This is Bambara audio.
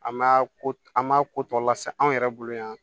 An ma ko an m'a ko tɔ lase anw yɛrɛ bolo yan